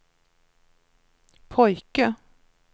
pojke